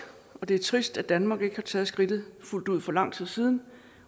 og det er trist at danmark ikke har taget skridtet fuldt ud for lang tid siden